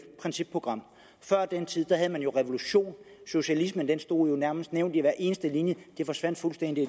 principprogram før den tid havde man jo revolution socialismen stod jo nærmest nævnt i hver eneste linje det forsvandt fuldstændig